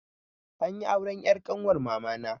Anyi auren 'yar ƙanwar mamana.